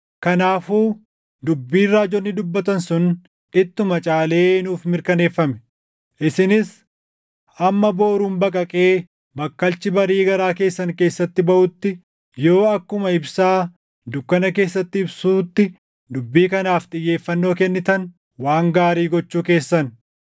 Kanaafuu dubbiin raajonni dubbatan sun ittuma caalee nuuf mirkaneeffame; isinis hamma boruun baqaqee bakkalchi barii garaa keessan keessatti baʼutti yoo akkuma ibsaa dukkana keessatti ibsuutti dubbii kanaaf xiyyeeffannoo kennitan waan gaarii gochuu keessan.